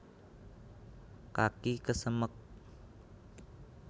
kaki kesemek